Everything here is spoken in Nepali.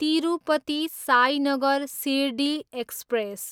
तिरुपति, साइनगर सिरडी एक्सप्रेस